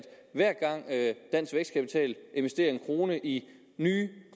hver gang dansk vækstkapital investerer en kroner i nye